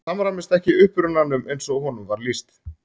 Það samræmist ekki upprunanum eins og honum var lýst.